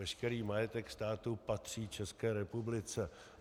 Veškerý majetek státu patří České republice.